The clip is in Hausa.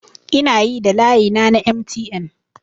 Ina yi da layina na MTN